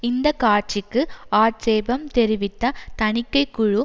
இந்த காட்சிக்கு ஆட்சேபம் தெரிவித்த தணிக்கை குழு